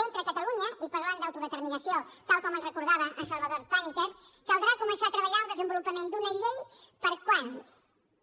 mentre a catalunya i parlant d’autodeterminació tal com ens recordava en salvador pàniker caldrà començar a treballar el desenvolupament d’una llei per quan